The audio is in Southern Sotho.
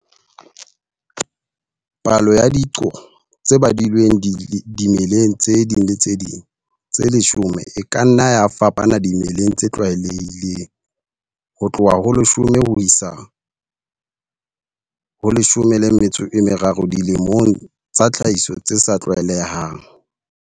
Palo ya diqo tse badilweng dimeleng tse ding le tse ding tse leshome e ka nna ya fapana dimeleng tse tlwaelehileng, ho tloha ho 10 ho isa ho 30 dilemong tsa tlhahiso tse sa tlwaelehang.